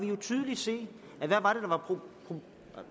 jo tydeligt se